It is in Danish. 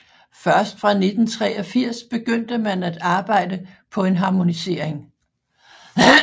Først fra 1983 begyndte man at arbejde på en harmonisering